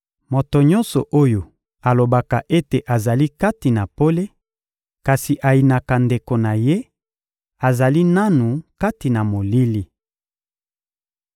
Moto nyonso oyo alobaka ete azali kati na pole kasi ayinaka ndeko na ye, azali nanu kati na molili.